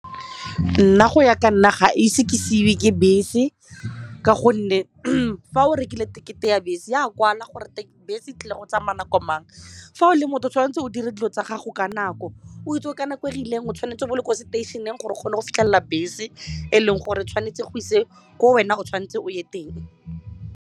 Nna go ya ka nna ga ise ke seiwe ke bese ka gonne fa o rekile tekete ya bese e a kwala gore teng bese tlile go tsamaya nako mang fa o le mo o tshwanetse o dire dilo tsa gago ka nako o itse ka nako e rileng o tshwanetse bo le kwa seteišeneng gore o kgone go fitlhelela bese e leng gore tshwanetse e go ise ko wena o tshwanetse o ye teng.